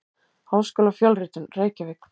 Háskólafjölritun: Reykjavík.